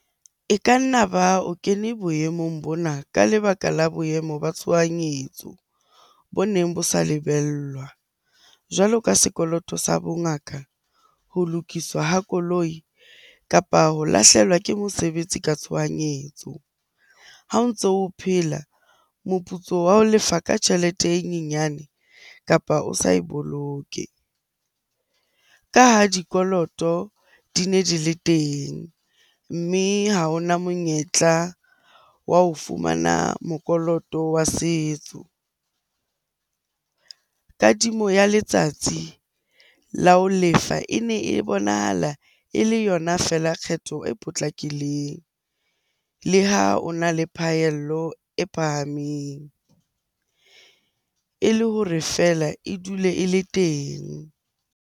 E ka nna ba o kene boemong bona ka lebaka la boemo ba tshohanyetso bo neng bo sa lebellwa. Jwalo ka sekoloto sa bongaka, ho lokiswa ha koloi, kapa ho lahlehelwa ke mosebetsi ka tshohanyetso. Ha o ntso o phela, moputso wa ho lefa ka tjhelete e nyenyane kapa o sa e boloke. Ka ha dikoloto di ne di le teng, mme ha ho na monyetla wa ho fumana mokoloto wa setso. Kadimo ya letsatsi la ho lefa e ne e bonahala e le yona feela kgetho e potlakileng le ha o na le phahello e phahameng e le hore feela e dule e le teng.